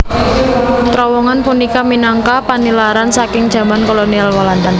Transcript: Trowongan punika minangka panilaran saking jaman kolonial Walanda